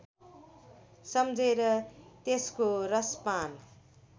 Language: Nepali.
सम्झेर त्यसको रसपान